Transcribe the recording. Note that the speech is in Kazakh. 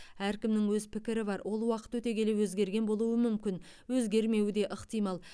әркімнің өз пікірі бар ол уақыт өте келе өзгерген болуы мүмкін өзгермеуі де ықтимал